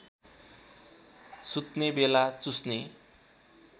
सुत्ने बेला चुस्ने